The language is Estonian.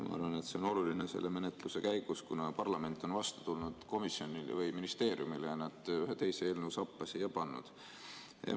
Ma arvan, et see on oluline selle menetluse käigus, kuna parlament on vastu tulnud ministeeriumile ja need ühe teise eelnõu sappa pannud.